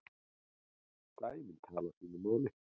Dæmin tali sínu máli.